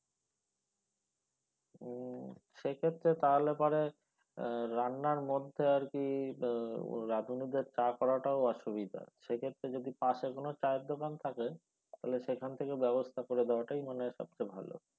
উম সেক্ষেত্রে তাহলে পরে রান্নার মধ্যে আর কি রাঁধুনি দের চা করা টাও অসুবিধা সেক্ষেত্রে যদি পাশে কোনো চায়ের দোকান থাকে তাহলে সেখান থেকে ব্যবস্থা করে দেওয়া টাই মনে হয় সব চেয়ে ভাল।